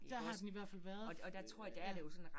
Der har den i hvert fald været øh ja